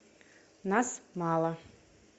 нас мало